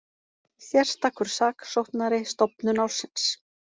Sérstakur saksóknari stofnun ársins